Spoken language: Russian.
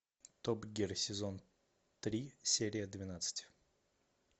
топ гир сезон три серия двенадцать